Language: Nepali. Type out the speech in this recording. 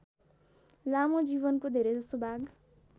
लामो जीवनको धेरैजसो भाग